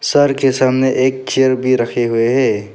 Sir के सामने एक चेयर भी रखे हुए हैं।